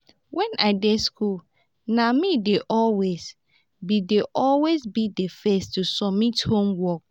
wen i dey school na me dey always be dey always be the first to submit homework